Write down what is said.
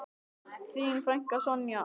Þín frænka, Sonja.